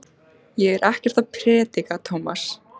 Ég er ekkert að predika, Tómas.